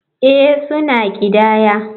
Ee, suna ƙidaya.